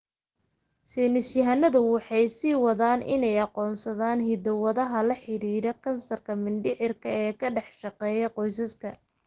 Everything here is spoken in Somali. Saynis yahanadu waxay sii wadaan inay aqoonsadaan hiddo-wadaha la xidhiidha kansarka mindhicirka ee ka dhex shaqeeya qoysaska.